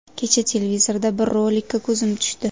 Kecha televizorda bir rolikka ko‘zim tushdi.